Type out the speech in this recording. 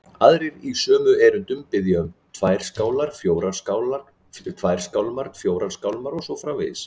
Aðrir í sömu erindum biðja um tvær skálmar, fjórar skálmar og svo framvegis.